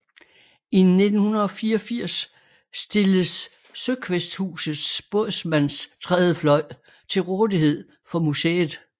I 1984 stilles Søkvæsthusets Bådsmandstrædefløj til rådighed for museet